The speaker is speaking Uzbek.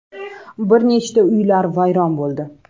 Bir nechta uylar vayron bo‘ldi.